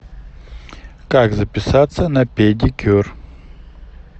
как записаться на педикюр